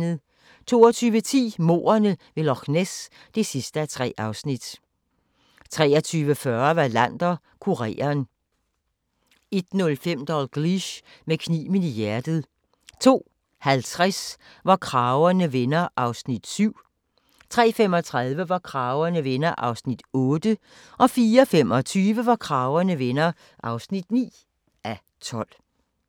22:10: Mordene ved Loch Ness (3:3) 23:40: Wallander: Kureren 01:05: Dalgliesh: Med kniven i hjertet 02:50: Hvor kragerne vender (7:12) 03:35: Hvor kragerne vender (8:12) 04:25: Hvor kragerne vender (9:12)